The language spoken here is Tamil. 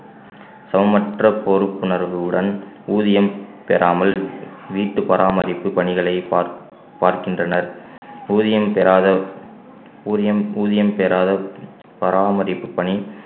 சமமற்ற பொறுப்புணர்வுடன் ஊதியம் பெறாமல் வீட்டு பராமரிப்பு பணிகளை பார்~ பார்க்கின்றனர் ஊதியம் பெறாத ஊதியம் ஊதியம் பெறாத பராமரிப்பு பணி